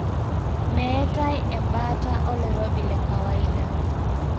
Meetae ebaata oloirobi lekawaida.